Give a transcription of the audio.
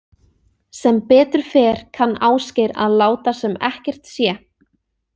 Sem betur fer kann Ásgeir að láta sem ekkert sé.